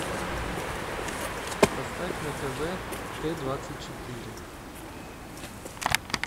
поставь на тв т двадцать четыре